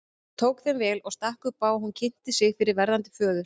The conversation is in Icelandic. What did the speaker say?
Hann tók þeim vel og stakk upp á að hún kynnti sig fyrir verðandi föður.